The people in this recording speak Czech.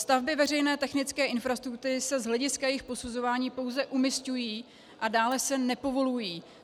Stavby veřejné technické infrastruktury se z hlediska jejich posuzování pouze umisťují a dále se nepovolují.